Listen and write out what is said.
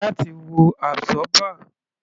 Láti wo absorber.